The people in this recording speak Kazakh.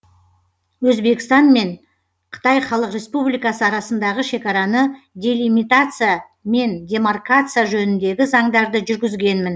өзбекстан мен қытай халық республикасы арасындағы шекараны делимитация мен демаркация жөніндегі заңдарды жүргізгенмін